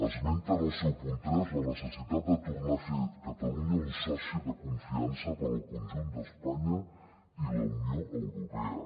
esmenta en el seu punt tres la necessitat de tornar a fer de catalunya un soci de confiança per al conjunt d’espanya i la unió europea